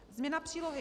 Změna Přílohy